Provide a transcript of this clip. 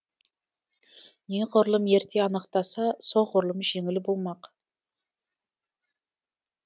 неғұрлым ерте анықтаса соғырлұм жеңіл болмақ